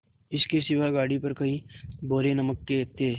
इसके सिवा गाड़ी पर कई बोरे नमक के थे